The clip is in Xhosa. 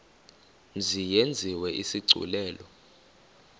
mzi yenziwe isigculelo